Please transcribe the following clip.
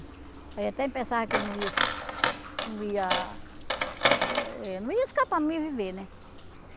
Aí até pensava que ele não ia, não ia, eh não ia escapar, não ia viver, né?